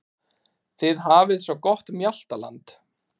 Þið hafið svo gott mjaltaland.